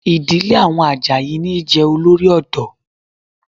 Ìdílé àwọn Àjàyí níí jẹ Olórí ọ̀dọ́